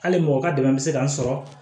Hali mɔgɔ ka dɛmɛ bɛ se ka n sɔrɔ